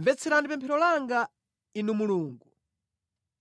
Mvetserani pemphero langa, Inu Mulungu,